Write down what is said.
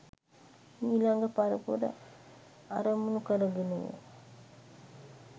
මීළඟ පරපුර අරමුණු කරගෙනය.